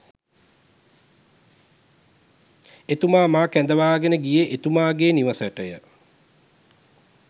එතුමා මා කැඳවාගෙන ගියේ එතුමාගේ නිවසටය.